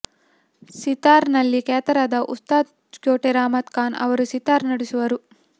ಸಿತಾರ್ನಲ್ಲಿ ಖ್ಯಾತರಾದ ಉಸ್ತಾದ್ ಛೋಟೆ ರಹಮತ್ ಖಾನ್ ಅವರು ಸಿತಾರ್ ನುಡಿಸುವರು